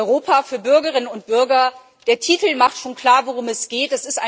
Europa für Bürgerinnen und Bürger der Titel macht schon klar, worum es geht.